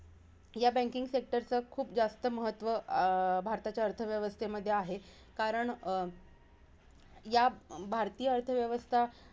या banking sector चं खूप जास्त महत्व अं भारताच्या अर्थव्यवस्थेमध्ये आहे. कारण अं या भारतीय अर्थ व्यवस्था,